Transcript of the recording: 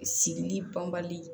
Sigili banbali